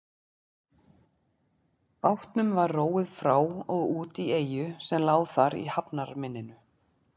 Bátnum var róið frá og út í eyju sem lá þar í hafnarmynninu.